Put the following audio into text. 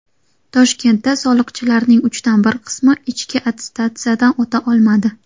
Toshkentda soliqchilarning uchdan bir qismi ichki attestatsiyadan o‘ta olmadi.